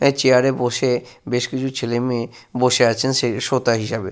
একটি চেয়ার এ বসে বেশ কিছু ছেলেমেয়ে বসে আছেন সে শ্রোতা হিসাবে।